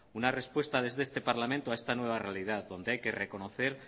una respuesta desde este parlamento a esta nueva realidad donde hay que reconocer